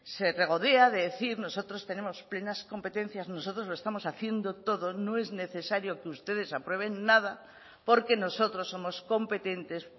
se regodea de decir nosotros tenemos plenas competencias nosotros lo estamos haciendo todo no es necesario que ustedes aprueben nada porque nosotros somos competentes